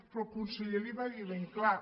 però el conseller li ho va dir ben clar